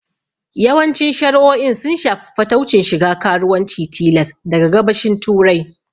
Yawancin shari'o'in sun shafi fataucin shiga karuwanci tilas daga Gabashin Turai.